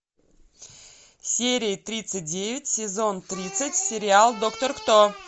серия тридцать девять сезон тридцать сериал доктор кто